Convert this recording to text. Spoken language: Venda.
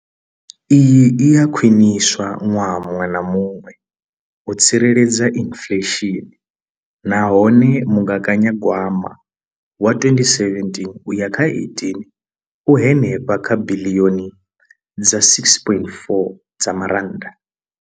Iyi i a khwiniswa ṅwaha muṅwe na muṅwe u tsireledza inflesheni nahone mugaganyagwama wa 2017 uya kha 18 u henefha kha biḽioni dza R6.4.